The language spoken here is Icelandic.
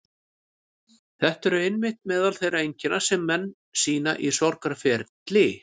Þetta eru einmitt meðal þeirra einkenna sem menn sýna í sorgarferli.